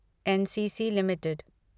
NCC limited